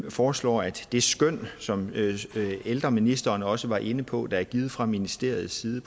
foreslår at de skøn som ældreministeren også var inde på og som er givet fra ministeriets side